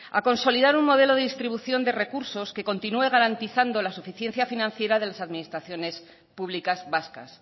a consolidar un modelo de distribución de recursos que continúe garantizando la suficiencia financiera de las administraciones públicas vascas